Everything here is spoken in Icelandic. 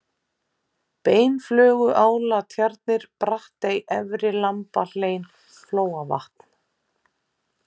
Beinflöguálatjarnir, Brattey, Efri-Lambahlein, Flóavatn